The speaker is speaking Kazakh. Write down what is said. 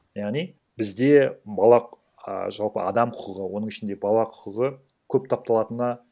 яғни бізде бала ааа жалпы адам құқығы оның ішінде бала құқығы көп тапталатынына